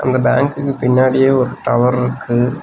அந்த பேங்குக்கு பின்னாடியே ஒரு டவர் ருக்கு.